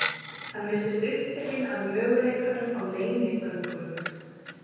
Hann virtist upptekinn af möguleikanum á leynigöngum.